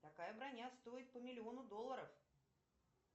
такая броня стоит по миллиону долларов